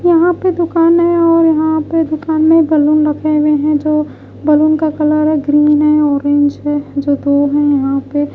यहाँ पे दुकान है और यहाँ पे दुकान में बैलून रखे हुए है जो बैलून का कलर है ग्रीन है ऑरेंज है जो दो है यहाँ पे।